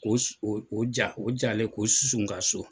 Ko o su o o ja o jalen k'o susu n ka so.